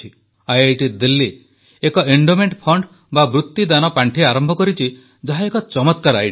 IIT Delhi ଏକ endowment fund ବା ବୃତିଦାନ ପାଣ୍ଠି ଆରମ୍ଭ କରିଛି ଯାହା ଏକ ଚମତ୍କାର ଆଇଡିଆ